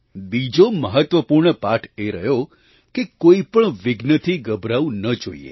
બીજો મહત્ત્વપૂર્ણ પાઠ એ રહ્યો કે કોઈ પણ વિઘ્નથી ગભરાવું ન જોઈએ